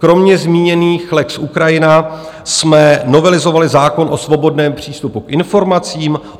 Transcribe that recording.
Kromě zmíněných lex Ukrajina jsme novelizovali zákon o svobodném přístupu k informacím.